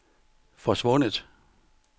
forsvundet